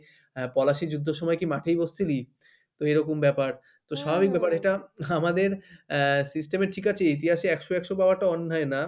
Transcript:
আহ পলাশীর যুদ্ধের সময় কি মাঠেই বসছিলি? তো এরকম ব্যাপার তো স্বাভাবিক ব্যাপার এটা আমাদের আহ system এ ঠিক আছে ইতিহাসে একশো একশো পাওয়াটা অন্যায় না,